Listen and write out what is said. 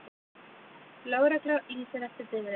Lögregla lýsir eftir bifreið